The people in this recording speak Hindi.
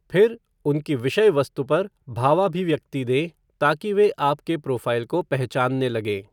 फिर, उनकी विषय वस्तु पर भावाभिव्यक्ति दें ताकि वे आपके प्रोफ़ाइल को पहचानने लगें।